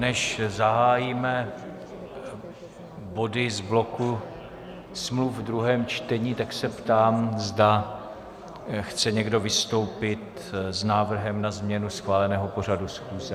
Než zahájíme body z bloku smluv v druhém čtení, tak se ptám, zda chce někdo vystoupit s návrhem na změnu schváleného pořadu schůze.